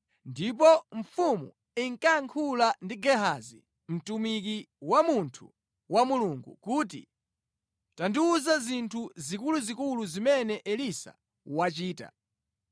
Ndipo mfumu inkayankhula ndi Gehazi, mtumiki wa munthu wa Mulungu kuti, “Tandiwuza zinthu zikuluzikulu zimene Elisa wachita.”